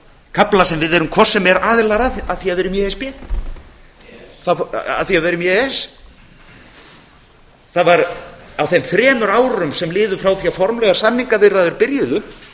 kafla sem við erum hvort sem er aðilar að af því að við erum í á það var á þeim þremur árum sem liðu frá því að formlegar samningaviðræður byrjuðu